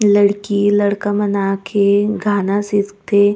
लड़की - लड़का मन आके गाना सीखथे।